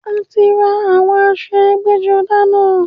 A ti rán àwọn aṣọ ẹgbẹ́-jọdá náà.